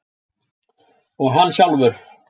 Og hann sjálfur.